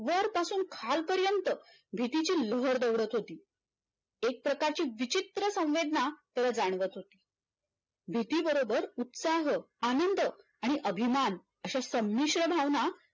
खालपर्यंत भीतीची लहर दौडत होती एक प्रकारची विचित्र संवेदना त्याला जाणवत होती भीती बरोबर उत्साह आनंद आणि अभिमान अश्या संमिश्रण भावना